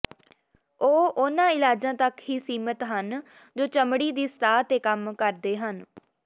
ਉਹ ਉਨ੍ਹਾਂ ਇਲਾਜਾਂ ਤੱਕ ਹੀ ਸੀਮਿਤ ਹਨ ਜੋ ਚਮੜੀ ਦੀ ਸਤਹ ਤੇ ਕੰਮ ਕਰਦੇ ਹਨ